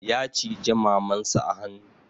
Ya cije maman sa a hanu